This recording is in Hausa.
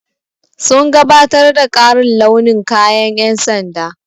Sun gabatar da ƙarin launin kayan ƴan sanda.